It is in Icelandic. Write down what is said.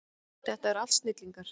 Þetta eru allt snillingar.